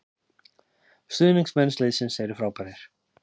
Stuðningsmenn liðsins eru frábær